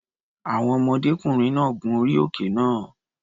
Àwọn ọmọdékùnrin náà gun orí òkè náà.